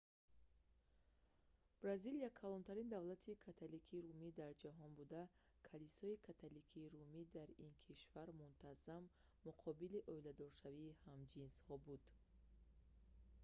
бразилия калонтарин давлати католикии румӣ дар ҷаҳон буда калисои католикии румӣ дар ин кишвар мунтазам муқобили ойладоршавии ҳамҷинсҳо буд